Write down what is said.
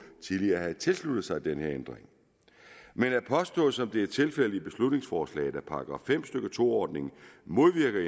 tidligere havde tilsluttet sig den her ændring men at påstå som det er tilfældet i beslutningsforslaget at § fem stykke to ordningen modvirker